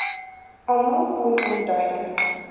almal kon onduidelik